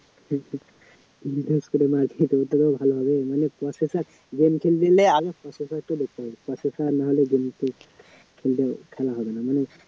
মারপিট করতে পারো তাহলে processor game টেম খেললে আগে processor টা দেখতে হবে processor নাহলে game টেম খেলতে খেলা হবে না